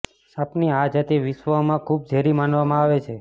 સાપની આ જાતિ વિશ્વમાં ખુબ ઝેરી માનવામાં આવે છે